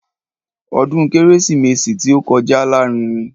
Ọdún kérésìmesì tí ó kọjá lárinrin.